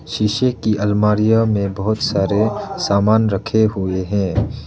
शीशे की अलमारीया में बहुत सारे सामान रखे हुए हैं।